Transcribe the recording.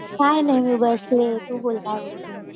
काही नाही मी बसलेय. तू बोल काय बोलते.